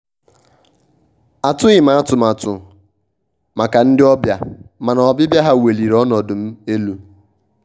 atụghị m atụmatụ maka ndị ọbịa mana ọbịbịa ha weliri ọnọdụ m elu.